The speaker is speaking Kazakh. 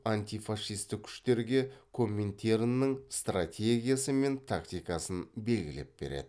антифашистік күштерге коминтерннін стратегиясы мен тактикасын белгілеп береді